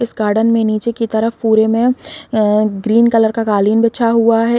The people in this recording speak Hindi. इस गार्डेन में नीचे की तरफ पूरे में अ ग्रीन कलर का कॉलिंग बिछा हुआ है।